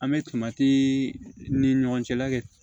An bɛ tomati ni ɲɔgɔn cɛ la kɛ